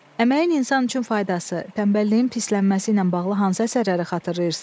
Əməyin insan üçün faydası, tənbəlliyin pisələnməsi ilə bağlı hansı əsərləri xatırlayırsız?